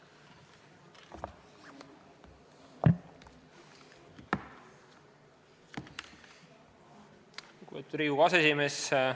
Lugupeetud Riigikogu aseesimees!